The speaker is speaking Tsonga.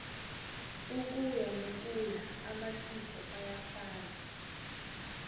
ukuya nokuya amasiko ayafa